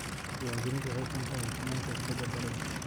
Diiwaangelintu waxay keentaa hufnaanta iibsashada dhulka.